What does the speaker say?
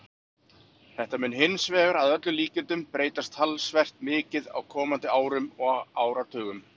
Þetta mun hins vegar að öllum líkindum breytast talsvert mikið á komandi árum og áratugum.